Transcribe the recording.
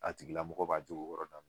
A tigila mɔgɔ b'a jogo kɔrɔ daminɛ.